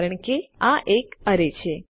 કારણ કે આ એક અરે છે